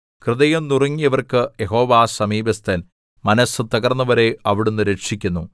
ഹൃദയം നുറുങ്ങിയവർക്ക് യഹോവ സമീപസ്ഥൻ മനസ്സു തകർന്നവരെ അവിടുന്ന് രക്ഷിക്കുന്നു